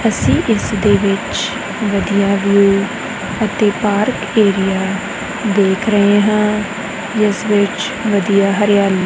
ਅਸੀਂ ਇਸ ਦੇ ਵਿੱਚ ਵਧੀਆ ਵਿਊ ਅਤੇ ਪਾਰਕ ਏਰੀਆ ਦੇਖ ਰਹੇ ਹਾਂ ਜਿਸ ਵਿੱਚ ਵਧੀਆ ਹਰਿਆਲੀ--